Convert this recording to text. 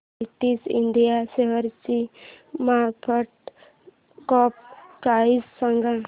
PTC India शेअरची market cap price सांगा